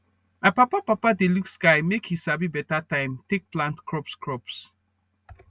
my papa papa dey look sky make e sabi beta time take plant crops crops